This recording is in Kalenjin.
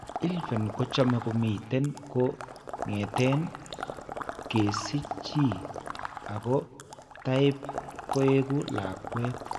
ILVEN kochome komiten ko ng'eten kesiche chii ako taiap koeku lakweet.